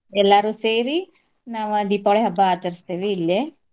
ಎಲ್ಲಾರು ಸೇರಿ ನಾವ ದೀಪಾವಳಿ ಹಬ್ಬ ಆಚರಸ್ತೇವಿ ಇಲ್ಲೆ